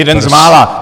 Jeden z mála.